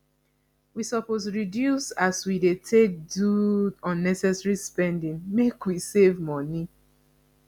we suppose reduce as wey dey take do unnecessary spending make we save moni